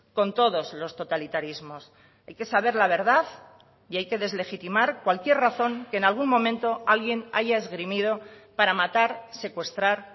con todos los totalitarismos hay que saber la verdad y hay que deslegitimar cualquier razón que en algún momento alguien haya esgrimido para matar secuestrar